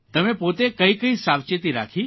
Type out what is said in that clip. તમે પોતે કઇ કઇ સાવચેતી રાખી